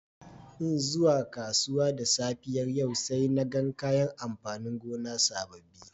N'na zuwa kasuwa da safiyar yau saina gan kayan amfanin gona sabobi.